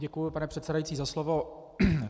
Děkuji, pane předsedající, za slovo.